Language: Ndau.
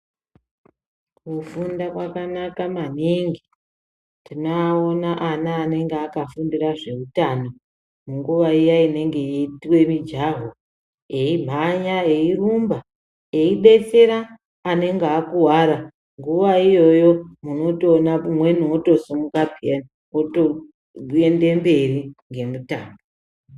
Kufunda kwakanaka maningi. Tinoaona ana anenge akafundire zveutano, munguwa iya inenge ichiitwa mujaho, eimhanya eirumba eibetsera anenge akuwara. Nguwa iyoyo unotoona umwe wotosimuka, peyani wotoende mberi ngemutambo.